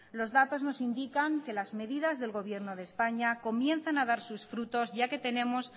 los datos nos indican que las medidas del gobierno de españa comienzan a dar sus frutos ya que tenemos